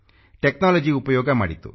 technology ಉಪಯೋಗ ಮಾಡಿತು